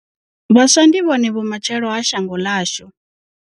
Vhaswa ndi vhone vhumatshelo ha shango ḽashu.